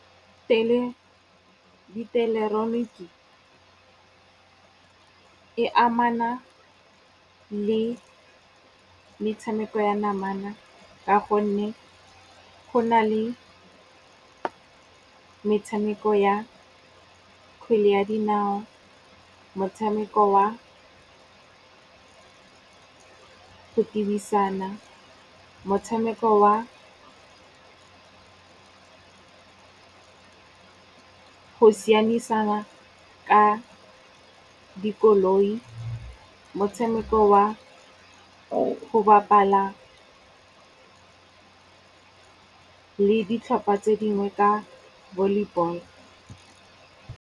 Pele dieleketoroniki e amana le metshameko ya namana ka gonne go na le metshameko ya kgwele ya dinao, motshameko wa go tebisana, motshameko wa go sianisana ka dikoloi, motshameko wa go bapala le ditlhopha tse dingwe ka volleyball.